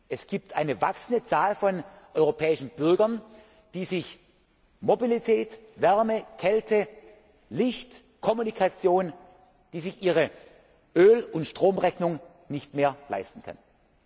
Fremdwort. Es gibt eine wachsende Zahl von europäischen Bürgern, die sich Mobilität, Wärme, Kälte, Licht, Kommunikation, ihre Öl und Stromrechnung nicht mehr leisten